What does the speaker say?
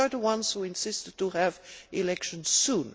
We are the ones who insisted on having elections soon.